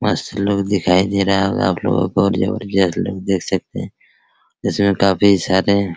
मस्त लोग दिखाई दे रहा होगा आपलोगो को और ज़बरदस्त लोग देख सकते है जिसमे काफी सारे --